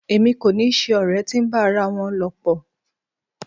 Èmi kò ni ṣe ọ̀rẹ́ tí ń bá ara wọn lọ̀pọ̀.